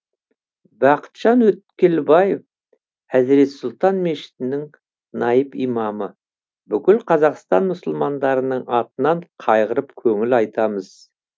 бақытжан өткелбаев әзірет сұлтан мешітінің наиб имамы бүкіл қазақстан мұсылмандарының атынан қайғырып көңіл айтамыз